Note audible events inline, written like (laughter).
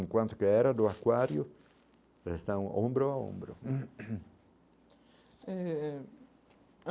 Enquanto que a era do aquário, eles estão ombro a ombro (coughs) eh.